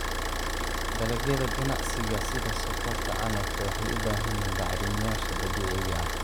Dalagyada ganacsiga sida sonkorta canabka waxay u baahan yihiin bacrimiyeyaasha dabiiciga ah.